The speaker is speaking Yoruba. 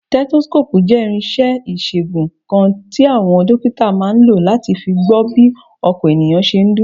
Stethoscope jẹ́ irinṣẹ́ ìṣègùn kan tí àwọn dókítà máa ń lò láti fi gbọ́ bí ọkàn ènìyàn ṣe ń dún.